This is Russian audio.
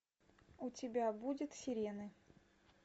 у тебя будет сирены